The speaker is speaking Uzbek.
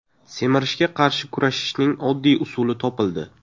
Semirishga qarshi kurashishning oddiy usuli topildi.